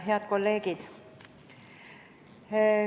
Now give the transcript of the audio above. Head kolleegid!